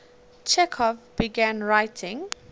chekhov began writing